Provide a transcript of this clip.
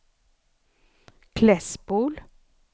Klässbol